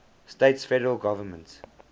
states federal government